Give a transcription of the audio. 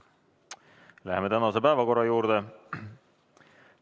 Läheme tänase päevakorra juurde.